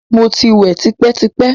Mo ti wẹ̀ tipẹ́-tipẹ́!